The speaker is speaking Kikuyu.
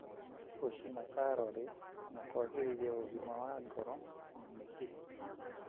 gũcĩĩna kalori na kwagĩrithia ũgima wa ngoro na mĩkiha.